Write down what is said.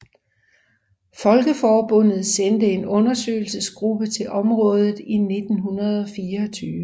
Folkeforbundet sendte en undersøgelsesgruppe til området i 1924